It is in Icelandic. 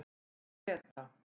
Greta